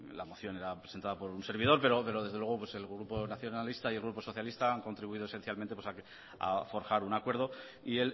la moción era presentada por un servidor pero desde luego el grupo nacionalista y el grupo socialista han contribuido esencialmente ha forjar un acuerdo y